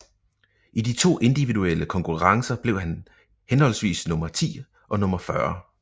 I de to individuelle konkurrencer blev han henholdsvis nummer ti og nummer fyrre